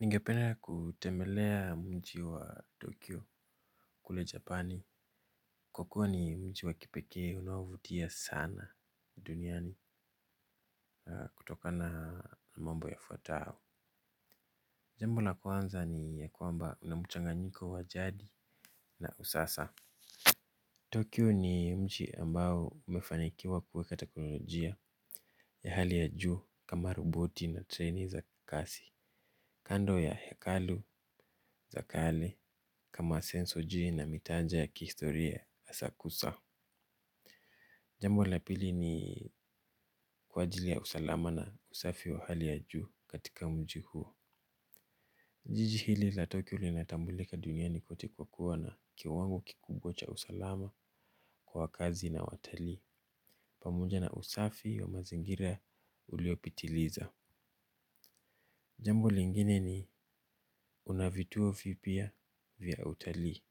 Ningependa kutemelea mji wa Tokyo kule. Japani. Kwa kuwa ni mji wa kipekee unaovutia sana duniani kutokana mambo yafwatayo. Jambo la kwanza ni ya kwamba kuna mchanganyiko wa jadi na usasa Tokyo ni mji ambao umefanikiwa kuweka teknolojia ya hali ya juu kama roboti na treni za kasi, kando ya hekalu za kale kama sensoji na mitaja ya kihistoria asakusa. Jambo la pili ni kwa ajili ya usalama na usafi wa hali ya juu katika mji huo. Jiji hili la Tokyo linatambulika duniani kote kwa kuwa na kiwango kikubwa cha usalama kwa wakaazi na watali. Pamoja na usafi wa mazingira uliopitiliza. Jambo lingine ni una vituo vipya vya utalii.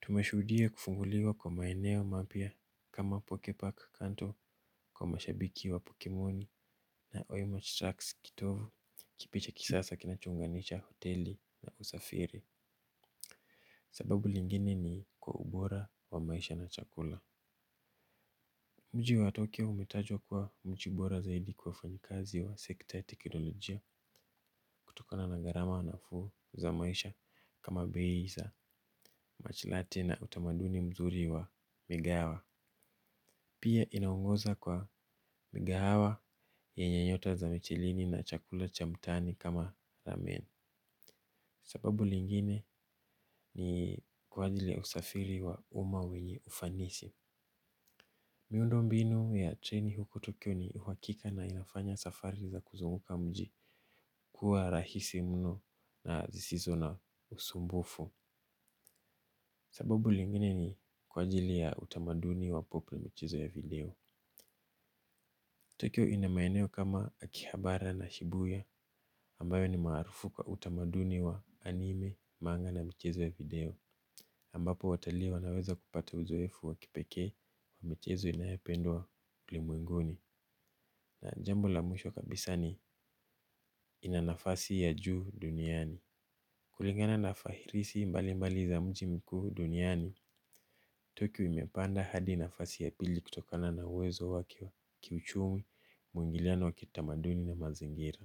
Tumashuhudia kufunguliwa kwa maeneo mapya kama pokepark kanto kwa mashabiki wa pokemoni na oima tracks kitovu kipi cha kisasa kinachounganisha hoteli na usafiri. Sababu lingine ni kwa ubora wa maisha na chakula. Mji wa Tokyo umetajwa kuwa mji bora zaidi kwa wafanyikazi au sekta ya teknolojia kutokana na gharama nafuu za maisha kama bei za mashilate na utamaduni mzuri wa ligawa. Pia inaongoza kwa mikahawa yenye nyota za michilini na chakula cha mtaani kama rameni. Sababu lingine ni kwa ajili ya usafiri wa uma wenye ufanisi. Miundo mbinu ya treni huko Tokyo ni uhakika na inafanya safari za kuzunguka mji. Kuwa rahisi mno na sisizo na usumbufu. Sababu lingini ni kwa ajili ya utamaduni wa popli na michezo ya video. Tokyo ina maeneo kama akihabara na shibuya ambayo ni maarufu kwa utamaduni wa anime, manga na michezo ya video. Ambapo watalii wanaweza kupata uzoefu wa kipekee wa michezo inayopendwa ulimwenguni. Na jambo la mwisho kabisa ni ina nafasi ya juu duniani. Kulingana na fahirisi mbali mbali za mji mkuu duniani. Tokyo imepanda hadi nafasi ya pili kutokana na uwezo wake kiuchumi mwingiliano wa kitamaduni na mazingira.